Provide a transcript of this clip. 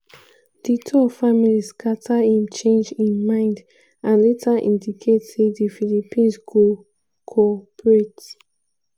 duterte family scata im change im mind and later indicate say di philippines go co-operate.